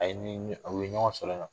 A ye ni ni o ye ɲɔgɔn sɔrɔ yen nɔn